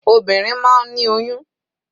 Obìnrin máa ń ní oyún.